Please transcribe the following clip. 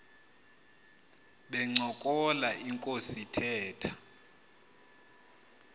bencokola inkos ithetha